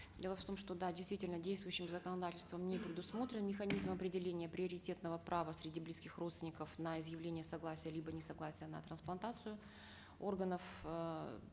дело в том что да действительно действующим законодательством не предусмотрен механизм определения приоритетного права среди близких родственников на изъявление согласия либо несогласия на трансплантацию органов эээ